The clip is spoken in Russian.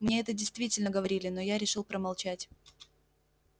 мне это действительно говорили но я решил промолчать